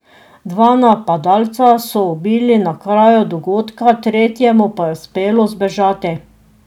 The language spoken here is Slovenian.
Dva napadalca so ubili na kraju dogodka, tretjemu pa je uspelo zbežati.